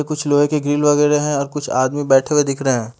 कुछ लोहे के कील वगैरे है और कुछ आदमी बैठे हुए दिख रहे है।